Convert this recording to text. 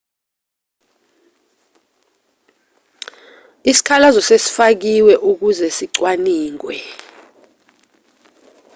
isikhalazo sesifakiwe ukuze sicwaningwe